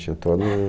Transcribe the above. Tinha toda uma...